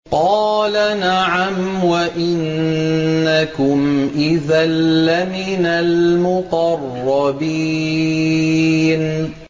قَالَ نَعَمْ وَإِنَّكُمْ إِذًا لَّمِنَ الْمُقَرَّبِينَ